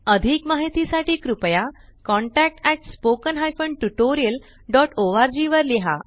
अधिक माहिती साठी कृपया contactspoken tutorialorg वर लिहा